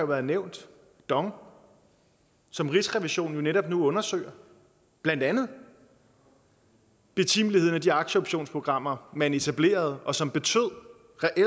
været nævnt dong som rigsrevisionen netop nu undersøger blandt andet betimeligheden af de aktieoptionsprogrammer man etablerede og som reelt betød